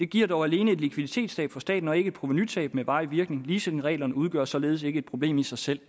giver dog alene et likviditetstab for staten og ikke et provenutab med varig virkning leasingreglerne udgør således ikke et problem i sig selv